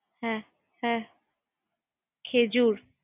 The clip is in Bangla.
তারপরে লিচু¬লিচুটা খুব